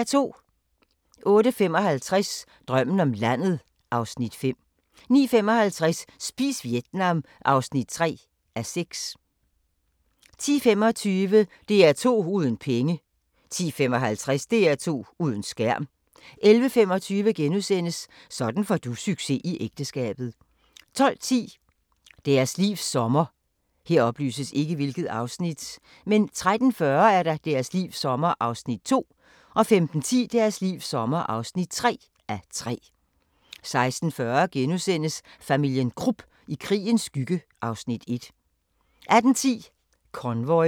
08:55: Drømmen om landet (Afs. 5) 09:55: Spis Vietnam (3:6) 10:25: DR2 uden penge 10:55: DR2 uden skærm 11:25: Sådan får du succes i ægteskabet * 12:10: Deres livs sommer 13:40: Deres livs sommer (2:3) 15:10: Deres livs sommer (3:3) 16:40: Familien Krupp – i krigens skygge (Afs. 1)* 18:10: Convoy